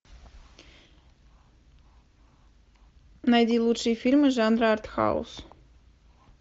найди лучшие фильмы жанра артхаус